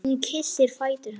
Hún kyssir fætur hans.